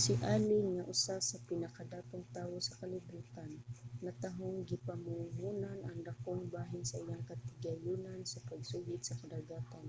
si allen nga usa sa pinakadatong tawo sa kalibutan natahong gipamuhonan ang dakong bahin sa iyang katigayunan sa pagsuhid sa kadagatan